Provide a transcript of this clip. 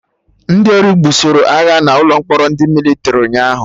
Ndị ori gbusoroagha n'ụlọ mkpọrọ ndị Mịlịtrị ụnyaahụ